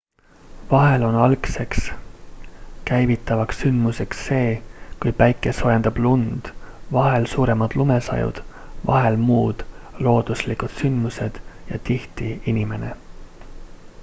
vahel on algseks käivitavaks sündmuseks see kui päike soojendab lund vahel suuremad lumesajud vahel muud looduslikud sündmused ja tihti inimene